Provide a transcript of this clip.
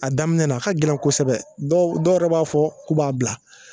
A daminɛ na a ka gɛlɛn na a ka gɛlɛn kosɛbɛ dɔw dɔw yɛrɛ b'a fɔ k'u b'a bila